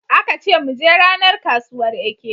Aka ce mu je ranar kasuwar Eke.